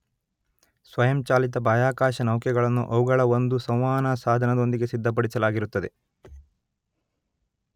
ಸ್ವಯಂಚಾಲಿತ ಬಾಹ್ಯಾಕಾಶನೌಕೆಗಳನ್ನು ಅವುಗಳ ಒಂದು ಸಂವಹನಾ ಸಾಧನದೊಂದಿಗೆ ಸಿದ್ಧಪಡಿಸಲಾಗಿರುತ್ತದೆ